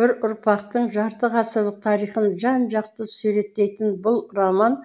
бір ұрпақтың жарты ғасырлық тарихын жан жақты суреттейтін бұл роман